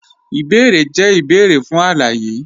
Ìbèérè jẹ̀ ìbèérè fún aláyé.